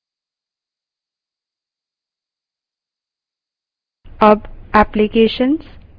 इस file को बंद करें